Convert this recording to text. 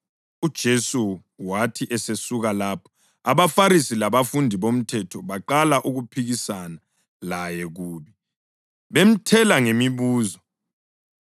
UJesu wathi esesuka lapho, abaFarisi labafundisi bomthetho baqala ukuphikisana laye kubi, bemthela ngemibuzo,